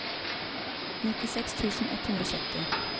nittiseks tusen ett hundre og sytti